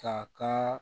Ka kan